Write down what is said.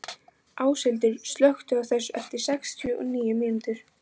Áshildur, slökktu á þessu eftir sextíu og níu mínútur.